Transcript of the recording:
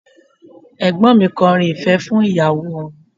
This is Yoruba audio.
Ẹ̀gbọ́n mi kọrin ìfẹ́ fún ìyàwó wọn